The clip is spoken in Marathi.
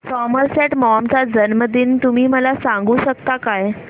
सॉमरसेट मॉम चा जन्मदिन तुम्ही मला सांगू शकता काय